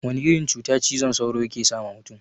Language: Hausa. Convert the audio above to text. Wana irin cuta cizon sauro yake sawa mutun?